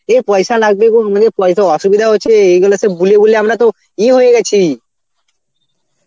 এ পয়সা লাগবে উনাদের পয়সা অসুবিধা আছে এইগুলো সব বলে বলে আমরা তো ইয়ে হয়ে গেছি.